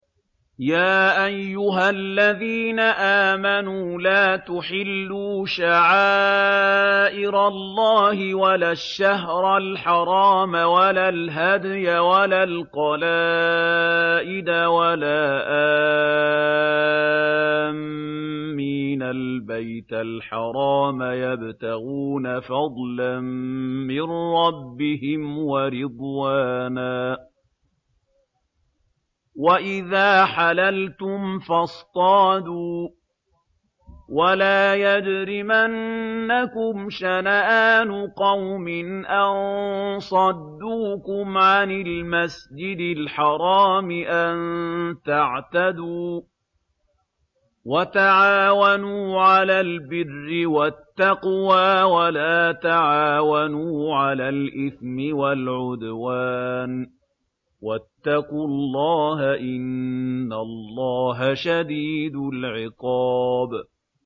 يَا أَيُّهَا الَّذِينَ آمَنُوا لَا تُحِلُّوا شَعَائِرَ اللَّهِ وَلَا الشَّهْرَ الْحَرَامَ وَلَا الْهَدْيَ وَلَا الْقَلَائِدَ وَلَا آمِّينَ الْبَيْتَ الْحَرَامَ يَبْتَغُونَ فَضْلًا مِّن رَّبِّهِمْ وَرِضْوَانًا ۚ وَإِذَا حَلَلْتُمْ فَاصْطَادُوا ۚ وَلَا يَجْرِمَنَّكُمْ شَنَآنُ قَوْمٍ أَن صَدُّوكُمْ عَنِ الْمَسْجِدِ الْحَرَامِ أَن تَعْتَدُوا ۘ وَتَعَاوَنُوا عَلَى الْبِرِّ وَالتَّقْوَىٰ ۖ وَلَا تَعَاوَنُوا عَلَى الْإِثْمِ وَالْعُدْوَانِ ۚ وَاتَّقُوا اللَّهَ ۖ إِنَّ اللَّهَ شَدِيدُ الْعِقَابِ